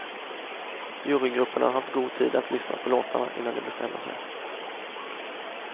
Jurygrupperna har haft god tid att lyssna på låtarna innan de bestämmer sig.